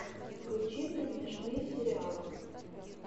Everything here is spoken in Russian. включи мне смешные сериалы